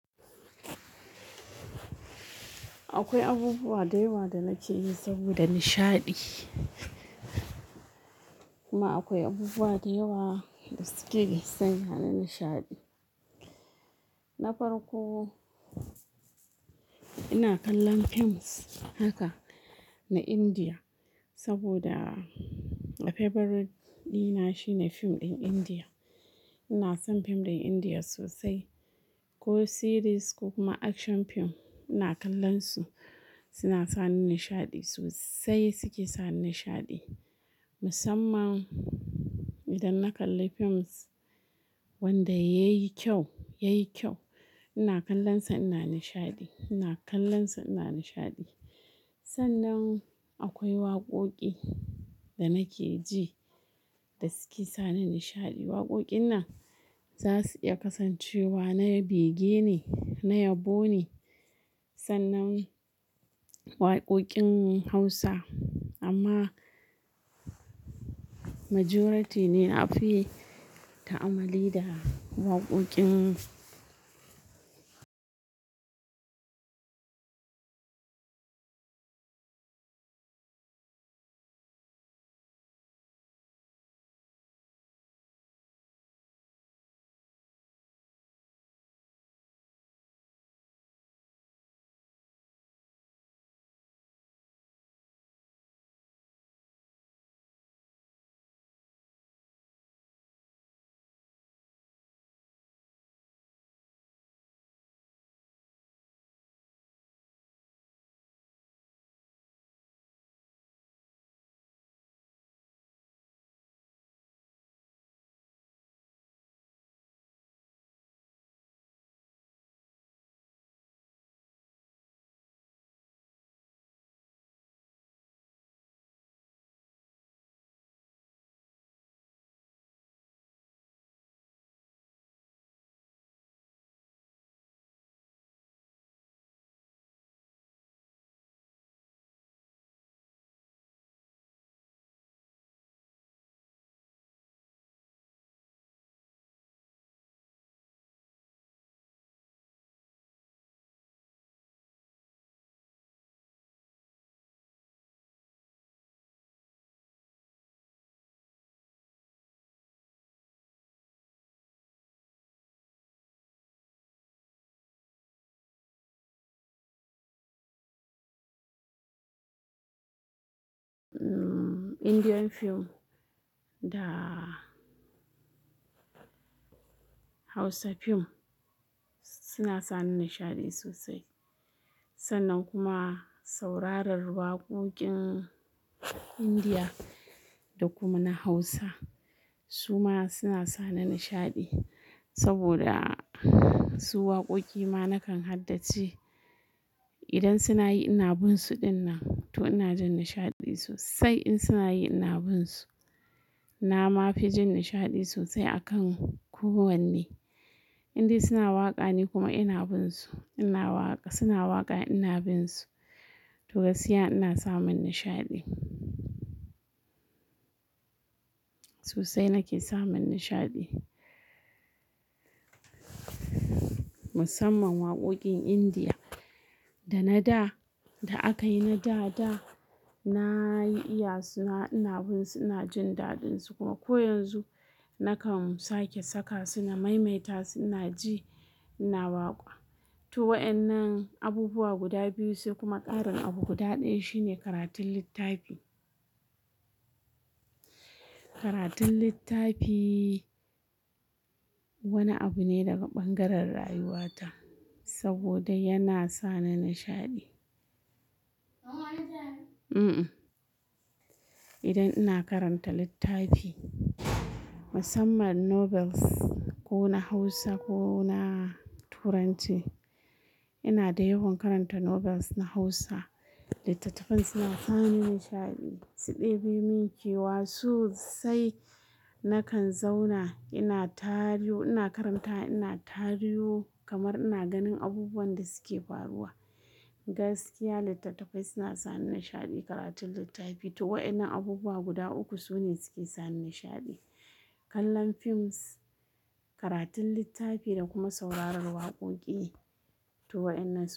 Akwai abubuwa da yawa da nake yi saboda nishaɗi, kuma akwai abubuwa da yawa da suke sanya na nishaɗi. Na farko, ina kallon films haka na Indiya saboda Fevorite dina shine fim ɗin Indiya. Ina son fim ɗin Indiya sosai, ko series ko kuma action fim. Ina kallonsu, suna sani nishaɗi sosai, suke sani nishaɗi. Musamman idan na kalli films wanda ya yi kyau, ya yi kyau. Ina kallonsa ina nishaɗi, ina kallonsa ina nishaɗi. Sannan akwai waqoqi da nake ji da suke sani nishaɗi. Waqoqin nan za su iya kasancewa na ya bege ne, na yabo ne, sannan waqoqin Hausa. Amma majority ne na fi ta'amalli da waqoqin Indian film da Hausa film suna sani nishaɗi sosai. Sannan kuma sauraron waqoqin Indiya da kuma na Hausa, su ma suna sa ni nishaɗi saboda su waqoqi ma na kan haddace idan suna yi ina bin su dinnan to ina jin nishaɗi sosai in suna yi ina bin su. Na ma fi jin nishaɗi sosai a kan ko wanne inda suna waƙa ni kuma ina bin su. Ina waƙa, suna waƙa ina bin su. To gaskiya ina samun nishaɗi. Sosai nake samun nishaɗi. Musamman waqoqin Indiya da na da, da aka yi na da da na yi iya suna ina bin su ina jin daɗinsu kuma ko yanzu na kan sake saka suna maimaita suna ji ina waƙa. To wa'yan nan abubuwa guda biyu sai kuma ƙarin abu guda ɗaya shine karatun littafi. Karatun littafi wani abu ne daga ɓangaren rayuwata saboda yana sa ni nishaɗi. Idan ina karanta littafi musamman novels ko na Hausa ko na turanci, ina da yawan karanta novels na Hausa. Littattafai suna sani nishaɗi, su ɗebi min kewa sosai. Nakan zauna ina tario ina karanta ina tario kamar ina ganin abubuwan da suke faruwa. Gaskiya littattafai suna sani nishaɗi karatun littafi. To wa yan nan abubuwa guda uku su ne suke sani nishaɗi. Kallon films, karatun littafi da kuma saurarar waqoqi. To waɗannan su ne.